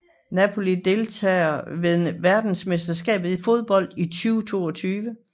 Napoli Deltagere ved verdensmesterskabet i fodbold 2022